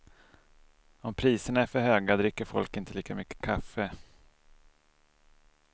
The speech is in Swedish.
Om priserna är för höga, dricker folk inte lika mycket kaffe.